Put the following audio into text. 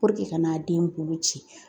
ka n'a den bolo ci .